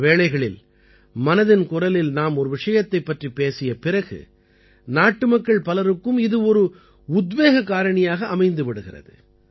பல வேளைகளில் மனதின் குரலில் நாம் ஒரு விஷயத்தைப் பற்றிப் பேசிய பிறகு நாட்டுமக்கள் பலருக்கும் இது ஒரு உத்வேக காரணியாக அமைந்து விடுகிறது